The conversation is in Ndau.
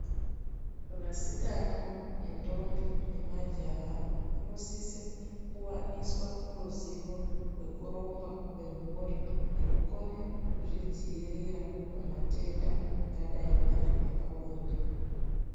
Vasikana nendombi nemajaha vanosise kuwaniswa ruzivo rwekurongwa kwemhuri, nekukone kuzvidzivirira pamatenda angadai ari epabonde.